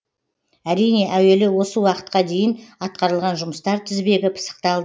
әрине әуелі осы уақытқа дейін атқарылған жұмыстар тізбегі пысықталды